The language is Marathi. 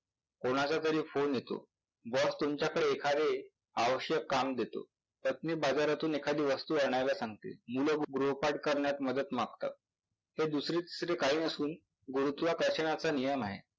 कोणाचातरी फोने येतो, boss तुमच्याकडे एखादे आवश्यक काम देतो, पत्नी बाजारातून एखादी वस्तू आणायला सांगते, मुलं गृहपाठ करण्यात मदत मागतात, तर दुसरे तिसरे काही नसून गुरुत्वाकर्षणाचा नियम आहे.